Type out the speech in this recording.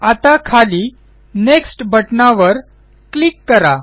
आता खाली नेक्स्ट बटणावर क्लिक करा